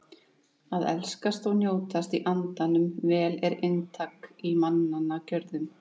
Að elskast og njótast í andanum vel er inntak í mannanna gjörðum.